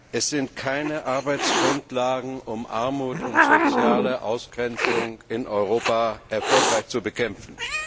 Es sind keine Arbeitsgrundlagen, um Armut und soziale Ausgrenzung in Europa erfolgreich zu bekämpfen.